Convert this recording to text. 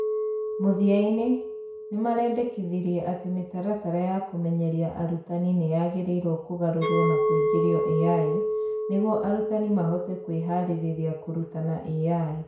Mũthia-inĩ, nĩ marendĩkithirie atĩ mĩtaratara ya kũmenyeria arutani nĩ yagĩrĩirwo kũgarũrũo na kũingĩrio AI nĩguo arutani mahote kwĩharĩria kũrutana AI.